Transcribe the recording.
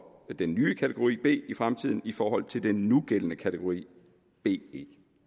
den nye kategori b i fremtiden i forhold til den nugældende kategori be